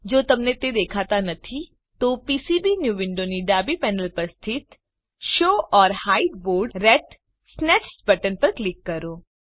જો તમને તે દેખાતા નથી તો પીસીબીન્યૂ વિન્ડોની ડાબી પેનલ પર સ્થિત show or hide board ratsnest button પર ક્લિક કરો